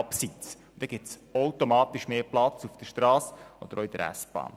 Dann gibt es automatisch mehr Platz auf der Strasse und in der S-Bahn.